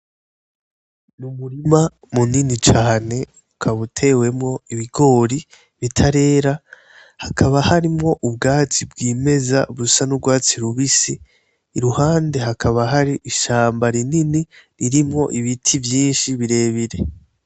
NI umurima munini cane ukaba utewemwo ibigori bitarera, haka harimwo ubwatsi bwimeza busa n'urwatsi rubisi , iruhande hakaba hari ishamba rinini, ririmwo ibiti vyinshi birebire.